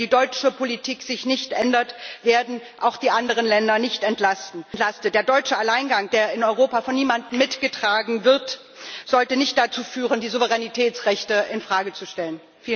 Wenn die deutsche Politik sich nicht ändert, werden auch die anderen Länder nicht entlastet. Der deutsche Alleingang, der in Europa von niemandem mitgetragen wird, sollte nicht dazu führen, die Souveränitätsrechte in Frage zu stellen.